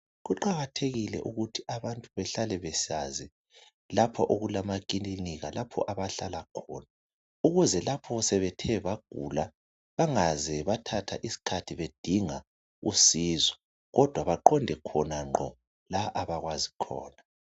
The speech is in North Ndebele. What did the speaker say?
Kuqakathekile ukuthi abantu behlale besazi lapho okulamakilinika lapho abahlala khona ukuze lapho sebethe bagula bangaze bathatha iskhathi bedinga usizo kodwa baqonde khona ngqo la abakwazi khona.